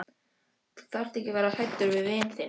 Þú þarft ekki að vera hræddur við vin þinn.